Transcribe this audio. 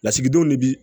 Lasigidenw de bi